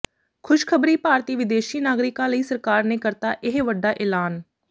ਖੁਸ਼ਖਬਰੀ ਭਾਰਤੀ ਵਿਦੇਸ਼ੀ ਨਾਗਰਿਕਾਂ ਲਈ ਸਰਕਾਰ ਨੇ ਕਰਤਾ ਇਹ ਵੱਡਾ ਐਲਾਨ